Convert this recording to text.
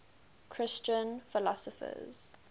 christian philosophers